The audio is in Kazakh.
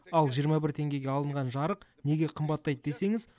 ал жиырма бір теңгеге алынған жарық неге қымбаттайды десеңіз